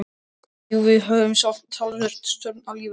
Jú, við höfum sjálf talsverða stjórn á lífi okkar.